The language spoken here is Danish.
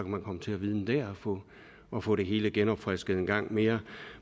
man komme til at vidne der og få det hele genopfrisket en gang mere